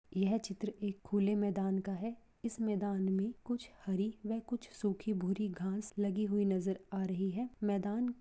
यह चित्र एक खुले मैदान का है इस मैदान में कुछ हरी व कुछ सुखी भूरी घास लगी हुई नजर आ रही है मैदान--